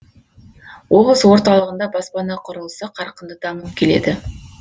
облыс орталығында баспана құрылысы қарқынды дамып келеді